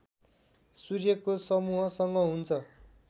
सूर्यको समूहसँग हुन्छ